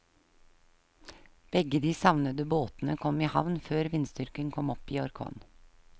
Begge de savnede båtene kom i havn før vindstyrken kom opp i orkan.